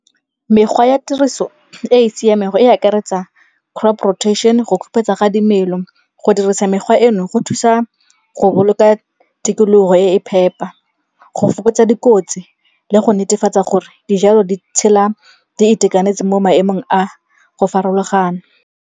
Mekgwa ya tiriso e e siameng go e akaretsa crop protection, go khupetsa ga dimelo. Go dirisa mekgwa eno go thusa go boloka tikologo e e phepa, go fokotsa dikotsi le go netefatsa gore dijalo di tshela di itekanetse mo maemong a go farologana.